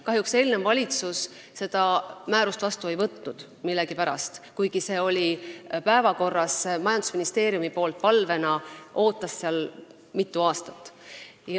Kahjuks eelnev valitsus seda määrust millegipärast ei andnud, kuigi see oli päevakorral, majandusministeeriumi palvena ootas see mitu aastat.